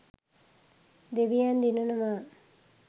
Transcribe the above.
දෙවියන් දිනනවා.